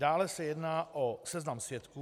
Dále se jedná o seznam svědků.